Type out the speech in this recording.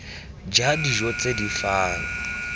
ja dijo tse di fang